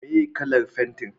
meye kalan fenti?